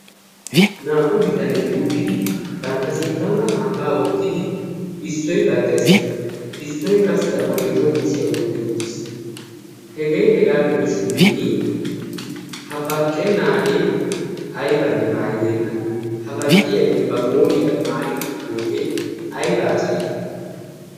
Naa"u bitanet uttidi bantta sinttankka kambbaa wottidi issoy baqqees. Issoy qassi A bolli coo kushiya wotti uttiis. Hegee hegaa gidobshin ha baqqennaagee aybanne mayibeena ha baqqiyagee qooriyaara mayi uttidoogee ayibaa calay?